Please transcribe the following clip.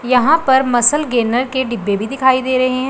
यहां पर muscle gainer के डिब्बे भी दिखाई दे रहे--